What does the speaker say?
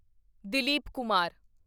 Dilip Kumar